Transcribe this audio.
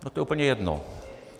To je úplně jedno.